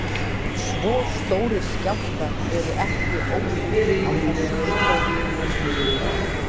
Svo stórir skjálftar eru ekki óþekktir á þessum slóðum.